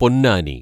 Ponnani